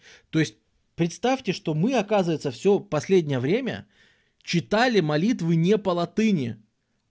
то есть представьте что мы оказывается всё последнее время читали молитвы не по латыни